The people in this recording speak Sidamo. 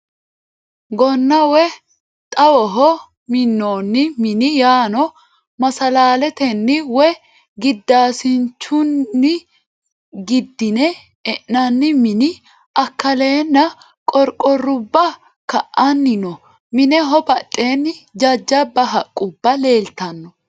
Gonna woyi xawoho minnoonni mini yaano masallaletenni woyi giddaasincgunni giddine e'nannii mini akkaleeenna qorqorruba ka"anni no. Mineho badheenni jajjabba haqqubba leeltanno.